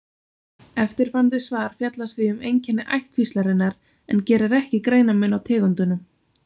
eftirfarandi svar fjallar því um einkenni ættkvíslarinnar en gerir ekki greinarmun á tegundunum